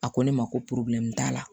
A ko ne ma ko t'a la